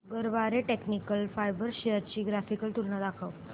Garware technical fibres shares ची graphical तुलना दाखव